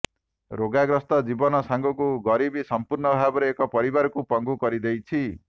ରୋଗାଗ୍ରସ୍ତ ଜୀବନ ସାଙ୍ଗକୁ ଗରିବୀ ସମ୍ପୂର୍ଣ୍ଣ ଭାବରେ ଏକ ପରିବାରକୁ ପଙ୍ଗୁ କରିଦେଇଛି